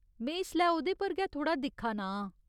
में इसलै ओह्‌दे पर गै थोह्ड़ा दिक्खा ना आं।